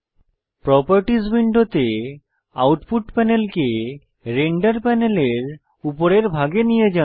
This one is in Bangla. প্রোপারটিস উইন্ডোতে আউটপুট প্যানেলকে রেন্ডার প্যানেলের উপরের ভাগে নিয়ে যান